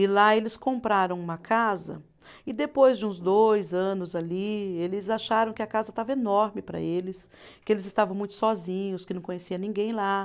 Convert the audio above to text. E lá eles compraram uma casa e depois de uns dois anos ali, eles acharam que a casa estava enorme para eles, que eles estavam muito sozinhos, que não conhecia ninguém lá.